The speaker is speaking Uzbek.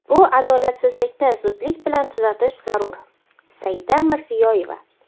bu adolatsizlikni zudlik bilan tuzatish zarur – Saida Mirziyoyeva.